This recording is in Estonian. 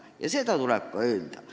Ja seda tuleb ka öelda.